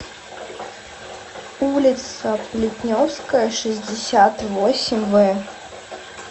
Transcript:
улица плетневская шестьдесят восемь в